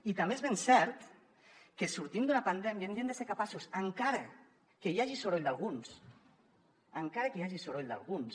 i també és ben cert que sortint d’una pandèmia hauríem de ser capaços encara que hi hagi soroll d’alguns encara que hi hagi soroll d’alguns